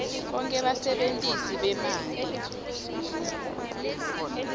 bonkhe basebentisi bemanti